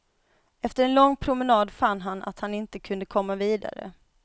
Efter en lång promenad fann han att han inte kunde komma vidare.